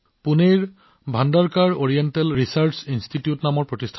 পুনেত Bhandarkar oriental research institute নামৰ এটা কেন্দ্ৰ আছে